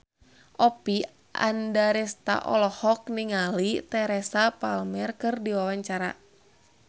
Oppie Andaresta olohok ningali Teresa Palmer keur diwawancara